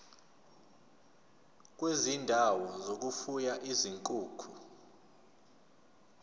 kwezindawo zokufuya izinkukhu